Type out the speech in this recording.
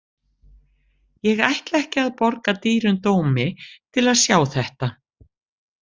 Ég ætla ekki að borga dýrum dómi til að sjá þetta.